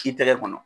K'i tɛgɛ kɔnɔ